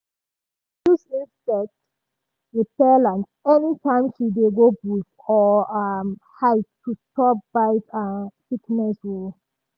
um she dey use insect repellent anytime she dey go bush or um hike to stop bite and sickness. um